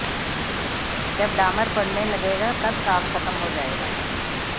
जब डामर पड़ने लगेगा तब काम खत्म हो जाएगा